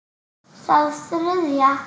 Það þriðja.